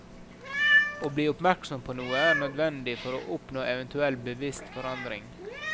Å bli oppmerksom på noe er nødvendig for å oppnå eventuell bevisst forandring.